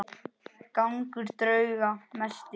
Gangur drauga mesti.